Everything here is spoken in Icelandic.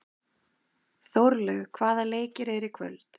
Þórlaug, hvaða leikir eru í kvöld?